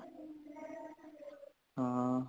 ਹਾਂ